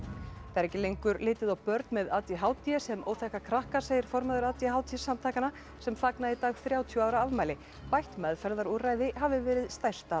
það er ekki lengur litið á börn með a d h d sem óþekka krakka segir formaður a d h d samtakanna sem fagna í dag þrjátíu ára afmæli bætt meðferðarúrræði hafi verið stærsta